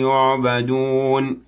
يُعْبَدُونَ